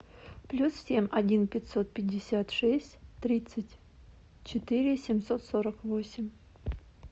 плюс семь один пятьсот пятьдесят шесть тридцать четыре семьсот сорок восемь